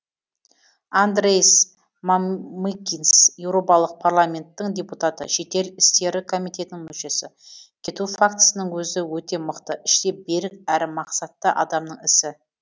андрейс мамыкинс еуропалық парламенттің депутаты шетел істері комитетінің мүшесі кету фактісінің өзі өте мықты іштей берік әрі мақсатты адамның ісі